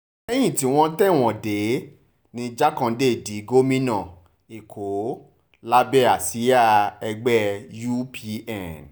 lẹ́yìn tí wọ́n tẹ̀wọ̀n dé ní jákándé di gómìnà èkó lábẹ́ àsíá ẹgbẹ́ upn